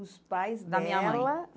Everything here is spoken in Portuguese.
Os pais dela? Da minha mãe